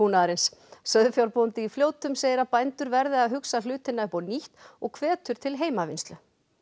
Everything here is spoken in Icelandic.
sauðfjárbóndi í Fljótum segir að bændur verði að hugsa hlutina upp á nýtt og hvetur til heimavinnslu